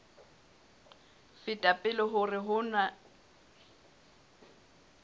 feta pele hore ho na